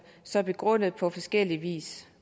så begrundet på forskellig vis